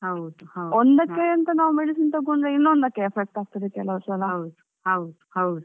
ಒಂದಕ್ಕೆ ಅಂತ ನಾವ್ medicine ತಕೊಂಡ್ರೆ ಇನ್ನೊಂದಕ್ಕೆ effect ಆಗ್ತದೆ ಕೆಲವ್ ಸಲ.